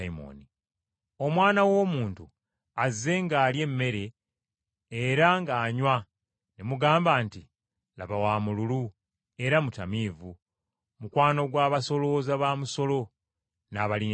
Omwana w’Omuntu azze ng’alya emmere era ng’anywa ne mugamba nti, ‘Laba wa mululu era mutamiivu, mukwano gw’abasolooza b’omusolo n’aboonoonyi!’